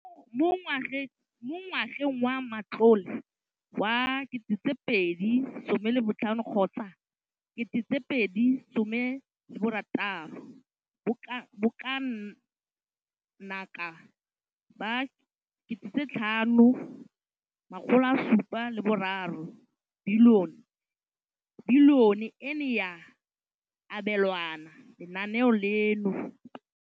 Mo ngwageng wa matlole wa 2015,16, bokanaka R5 703 bilione e ne ya abelwa lenaane leno.